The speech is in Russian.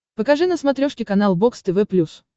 покажи на смотрешке канал бокс тв плюс